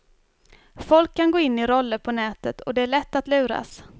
Folk kan gå in i roller på nätet och det är lätt att luras.